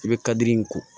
I bɛ kadiri in ko